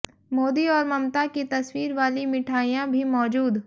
मोदी और ममता की तस्वीर वाली मिठाइयां भी मौजूद